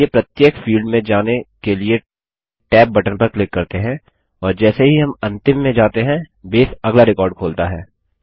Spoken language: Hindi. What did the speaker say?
चलिए प्रत्येक फील्ड में जाने के लिए tab बटन पर क्लिक करते हैं और जैसे ही हम अंतिम में जाते हैं बेस अगला रिकॉर्ड खोलता है